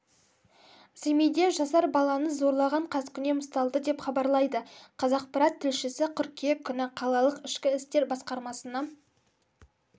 семейде жасар баланы зорлаған қаскүнем ұсталды деп хабарлайды қазақпарат тілшісі қыркүйек күні қалалық ішкі істер басқармасына